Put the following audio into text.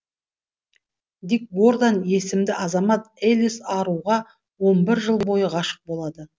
дик гордан есімді азамат элис аруға он бір жыл бойы ғашық болады